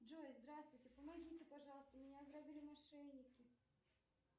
джой здравствуйте помогите пожалуйста меня ограбили мошенники